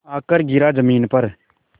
आकर गिरा ज़मीन पर